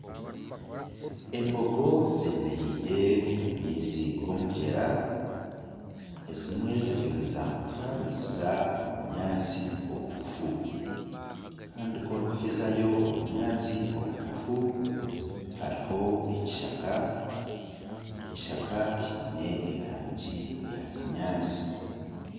Embogo zemereire omu maizi g'omugyera. Ezimwe ziriyo nizambuka niziza omu bunyaatsi obugufu. Kandi ku orikuhezayo obunyaatsi obugufu hariho ekishaka. Ekishaka kiine erangi eya kinyaatsi.